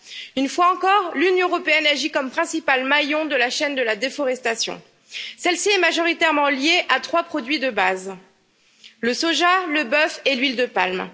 Une fois encore, l'Union européenne agit comme principal maillon de la chaîne de la déforestation, celle ci est majoritairement liée à trois produits de base le soja, le bœuf et l'huile de palme.